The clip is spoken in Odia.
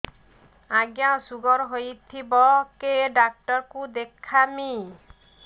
ଆଜ୍ଞା ଶୁଗାର ହେଇଥିବ କେ ଡାକ୍ତର କୁ ଦେଖାମି